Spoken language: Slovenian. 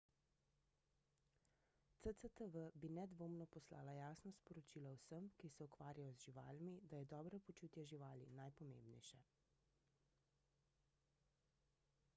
cctv bi nedvomno poslala jasno sporočilo vsem ki se ukvarjajo z živalmi da je dobro počutje živali najpomembnejše